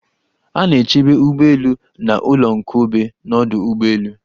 A na-echebe ugbọelu na ụlọnkobe n'ọdụ ụgbọelu.